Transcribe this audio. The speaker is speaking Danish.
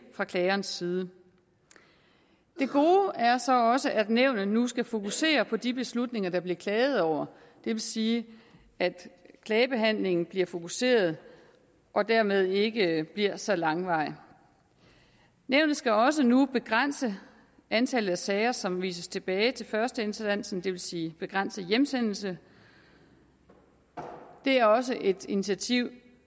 fra klagerens side det gode er så også at nævnet nu skal fokusere på de beslutninger der bliver klaget over det vil sige at klagebehandlingen bliver fokuseret og dermed ikke bliver så langvarig nævnet skal også nu begrænse antallet af sager som vises tilbage til førsteinstansen det vil sige begrænse hjemsendelse det er også et initiativ